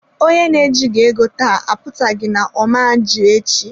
Onye na ejighị ego taa apụtaghị na-ọma ji echi.